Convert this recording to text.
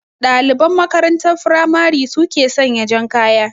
Ɗaliban makarantar firamare su ke sanya jan kaya